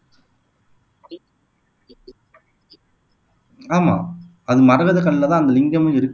ஆமா அது மரகத கல்லுல தான் அந்த லிங்கமும் இருக்கு